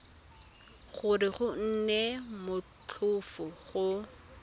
gore go nne motlhofo go